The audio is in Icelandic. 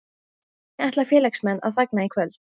Hvernig ætla félagsmenn að fagna í kvöld?